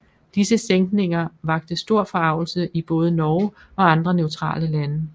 Disse sænkninger vakte stor forargelse i både Norge og andre neutrale lande